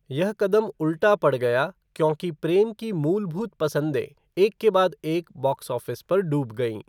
यह कदम उल्टा पड़ गया क्योंकि प्रेम की मूलभूत पसंदें एक के बाद एक बॉक्स ऑफ़िस पर डूब गईं।